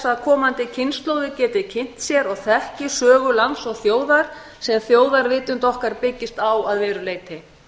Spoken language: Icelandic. að komandi kynslóðir geti kynnt sér og þekki sögu lands og þjóðar sem þjóðarvitund okkar byggist á að verulegu leyti